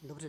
Dobře.